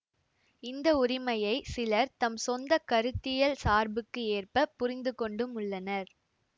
இந்த உரிமையை சிலர் தம் சொந்த கருத்தியல் சார்புக்கு ஏற்ப புரிந்துகொண்டும் உள்ளனர்